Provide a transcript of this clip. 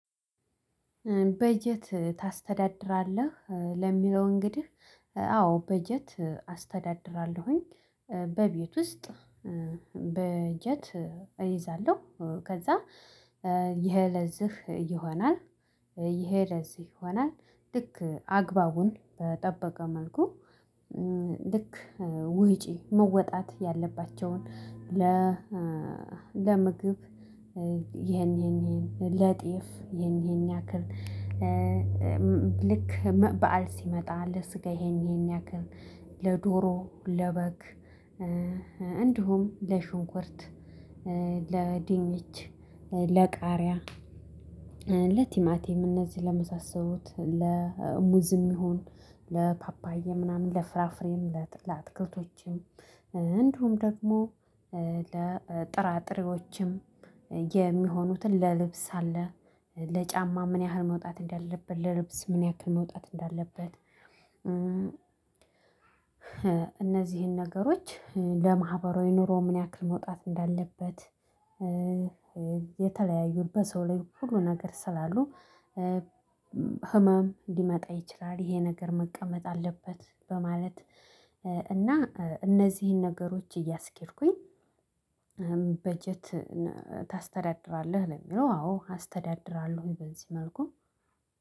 በጀት ታስተዳድራለህ ለሚለው እንግዲህ አዎ በጀት አስተዳድራለሁኝ። በቤት ውስጥ። በጀት እይዛለሁ። ከዛ ይሄ ለዚህ ይሆናል። ይሄ ለዚህ ይሆናል ልክ አግባቡን በጠበቀ መልኩ። ልክ ወጪ መወጣት ያለባቸውን ለ ለምግብ ይሄን ይሄን ይሄን ለጤፍ ይሄን ይሄን ያክል። ልክ በዓል ሲመጣ ለስጋ ይሄን ይሄን ያክል ለዶሮ ለበግ። እንዲሁም ለሽንኩርት ለድንች ለቃሪያ ለቲማቲም እነዚህ ለመሳሰሉት ለሙዝም ይሁን ለፓፓዬ ምናምን ለፍራፍሬም ለአትክልቶቼም። እንደውም ደግሞ ለጥራጥሬዎችም የሚሆኑትን ለልብስ አለ። ለጫማ ምን ያህል መውጣት እንዳለበት ለልብስ ምን ያክል መውጣት እንዳለበት። እነዚህን ነገሮች ለማህበራዊ ኑሮ ምን ያክል መውጣት እንዳለበት። የተለያዩ በሰው ላይ ሁሉ ነገር ስላሉ። ህመም ሊመጣ ይችላል ይሄ ነገር መቀመጥ አለበት በማለት። እና እነዚህን ነገሮች እያስኬድኩኝ። በጀት ታስተዳድራለህ ለሚለው አዎ አስተዳድራለሁ በዚህ መልኩ።